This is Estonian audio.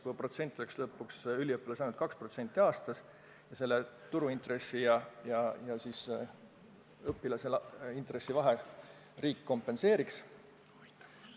Protsent võiks üliõpilasele olla ainult 2% aastas ning vahe turuintressi ja õpilase intressi vahel kompenseeriks riik.